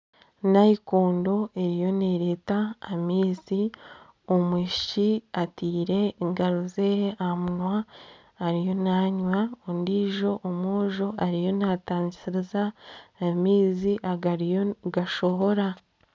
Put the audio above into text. Nayikondo eriyo nereeta amaizi. Omwishiki atiire engaro zeye aha munwa ariyo nanywa, ondijo omwojo ariyo natangiriza amaizi agariyo nigashohora.